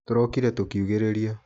Tũrokire tũkiugĩrĩria.